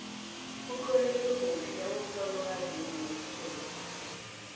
utloleke kuhle umtlolo kazimu wesikhethu